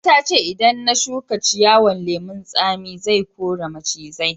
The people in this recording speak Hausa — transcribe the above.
Mama ta ce idan na shuka ciyawan lemun Sami, zai kore macizai.